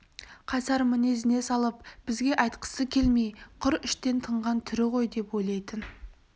қайсар мінезіне салып бізге айтқысы келмей құр іштен тынған түрі ғой деп ойлайтын